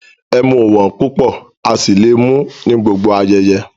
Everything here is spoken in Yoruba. Ẹ̀mú ọ̀ wọn púpọ̀ á sì lé mú ní gbogbo ayéyé